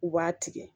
U b'a tigɛ